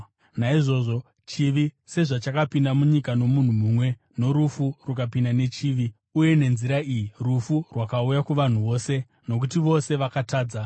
Naizvozvo, chivi sezvachakapinda munyika nomunhu mumwe, norufu rukapinda nechivi, uye nenzira iyi rufu rwakauya kuvanhu vose, nokuti vose vakatadza,